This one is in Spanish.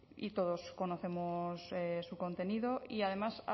y todos conocemos su contenido y además